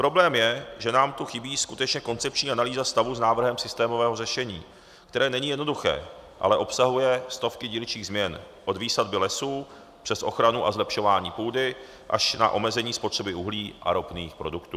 Problém je, že nám tu chybí skutečně koncepční analýza stavu s návrhem systémového řešení, které není jednoduché, ale obsahuje stovky dílčích změn od výsadby lesů přes ochranu a zlepšování půdy až na omezení spotřeby uhlí a ropných produktů.